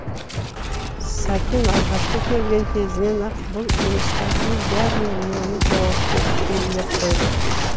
сәкең алғашқы келген кезінен ақ бұл жұмыстардың бәріне мені жауапты етіп белгілеп қойды